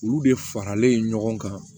Olu de faralen ɲɔgɔn kan